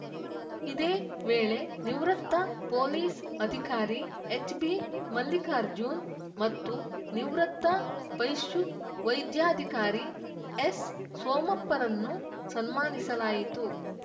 ಇದೇ ವೇಳೆ ನಿವೃತ್ತ ಪೋಲಿಸ್‌ ಅಧಿಕಾರಿ ಎಚ್‌ಬಿಮಲ್ಲಿಕಾರ್ಜುನ್‌ ಮತ್ತು ನಿವೃತ್ತ ಪಶುವೈದ್ಯಾಧಿಕಾರಿ ಎಸ್‌ಸೋಮಪ್ಪರನ್ನು ಸನ್ಮಾನಿಸಲಾಯಿತು